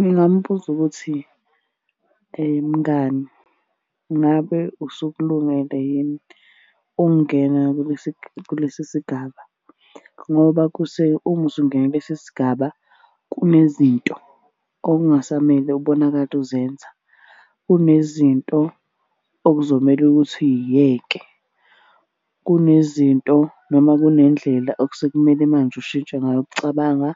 Ngingamubuza ukuthi, mngani ngabe usukulungele yini ukungena kulesi sigaba ngoba uma usungena kulesi sigaba kunezinto okungasamele ubonakale uzenza. Kunezinto okuzomele ukuthi uy'yeke. Kunezinto noma kunendlela okusekumele manje ushintshe ngayo ukucabanga